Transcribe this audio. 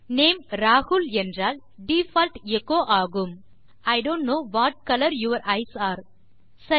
name Rahul என்றால் default echo ஆகும் I don't know what colour your eyes are சரி